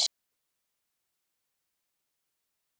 Kenndi hann